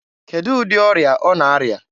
Kedụ ụdị ọrịa ọ na-arịa?